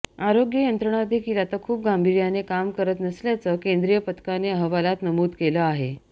आरोग्य यंत्रणा देखील आता खुप गांभीर्याने काम करत नसल्याचं केंद्रीय पथकाने अहवालात नमूद केलं आहे